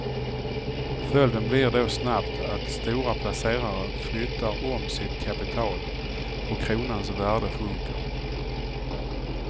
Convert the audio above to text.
Följden blir då snabbt att stora placerare flyttar om sitt kapital och kronans värde sjunker.